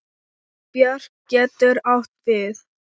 Björk getur átt við